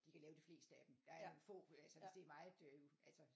De kan lave de fleste af dem der er jo få altså hvis det er meget øhm altså